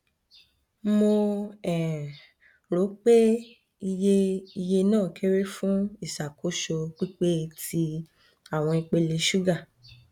mo um ro pe iye iye naa kere fun iṣakoso pipe ti awọn ipele suga